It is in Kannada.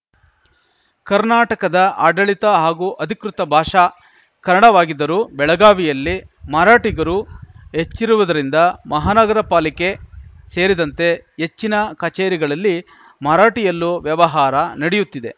ಕರ್ನಾಟಕದ ಆಡಳಿತ ಹಾಗೂ ಅಧಿಕೃತ ಭಾಷ ಕನ್ನಡವಾಗಿದ್ದರೂ ಬೆಳಗಾವಿಯಲ್ಲಿ ಮರಾಠಿಗರು ಹೆಚ್ಚಿರುವುದರಿಂದ ಮಹಾನಗರ ಪಾಲಿಕೆ ಸೇರಿದಂತೆ ಹೆಚ್ಚಿನ ಕಚೇರಿಗಳಲ್ಲಿ ಮರಾಠಿಯಲ್ಲೂ ವ್ಯವಹಾರ ನಡೆಯುತ್ತಿದೆ